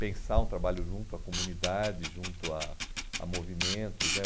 pensar um trabalho junto à comunidade, junto a a movimentos né.